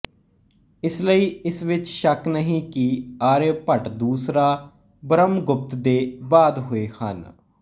ਇਸ ਲਈ ਇਸ ਵਿੱਚ ਸ਼ੱਕ ਨਹੀਂ ਕਿ ਆਰੀਆਭੱਟ ਦੂਸਰਾ ਬਰਹਮਗੁਪਤ ਦੇ ਬਾਅਦ ਹੋਏ ਹਨ